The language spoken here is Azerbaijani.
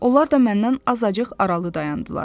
Onlar da məndən azacıq aralı dayandılar.